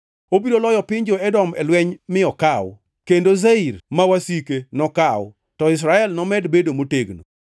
Obiro loyo piny jo-Edom e lweny mi okaw; kendo Seir ma wasike, nokaw, to Israel nomed bedo motegno.